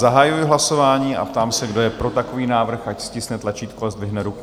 Zahajuji hlasování a ptám se, kdo je pro takový návrh, ať stiskne tlačítko a zdvihne ruku.